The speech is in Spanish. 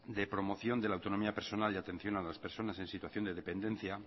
de promoción de la autonomía personal y de atención a las personas en situación de dependencia